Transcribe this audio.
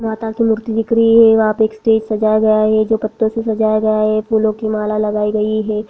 मूर्ति दिख रही है वहाँ पे स्टेज सजाया गया है। जो पत्तों से सजाया गया है फूलों की माला लगाई गई है।